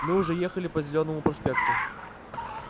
мы уже ехали по зелёному проспекту